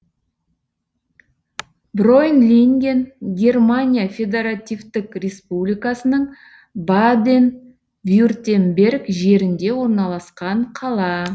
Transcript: бройнлинген германия федаративтік республикасының баден вюртемберг жерінде орналасқан қала